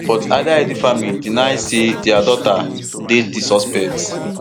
but adaidu family deny say dia daughter date di suspect